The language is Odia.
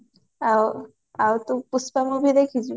ଆଉ ଆଉ ତୁ ପୁଷ୍ପା movie ଦେଖିଚୁ